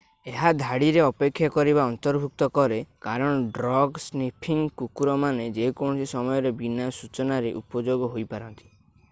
ଏହା ଧାଡିରେ ଅପେକ୍ଷା କରିବା ଅନ୍ତର୍ଭୁକ୍ତ କରେ କାରଣ ଡ୍ରଗ୍ ସ୍ନିଫିଂ କୁକୁରମାନେ ଯେକୌଣସି ସମୟରେ ବିନା ସୂଚନାରେ ଉପଯୋଗ ହୋଇ ପାରନ୍ତି